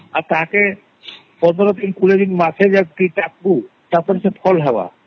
ଆଉ ଟାଙ୍କେ ମାସେ 15 ଦିନ ଆରେ ଦେଖଃବୁ କଁ ହେବ ?